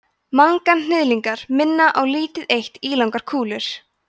manganhnyðlingar minna á lítið eitt ílangar kúlur